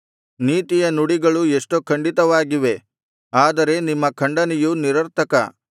ನೀತಿಯ ನುಡಿಗಳು ಎಷ್ಟೋ ಖಂಡಿತವಾಗಿವೆ ಆದರೆ ನಿಮ್ಮ ಖಂಡನೆಯು ನಿರಾರ್ಥಕ